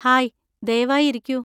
Hi, ദയവായി ഇരിക്കൂ.